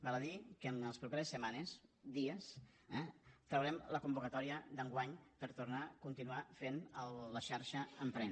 val a dir que en les properes setmanes dies eh traurem la convocatòria d’enguany per tornar a continuar fent la xarxa emprèn